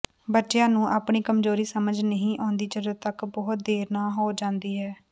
ਬੱਚਿਆਂ ਨੂੰ ਆਪਣੀ ਕਮਜ਼ੋਰੀ ਸਮਝ ਨਹੀਂ ਆਉਂਦੀ ਜਦੋਂ ਤੱਕ ਬਹੁਤ ਦੇਰ ਨਾ ਹੋ ਜਾਂਦੀ ਹੈ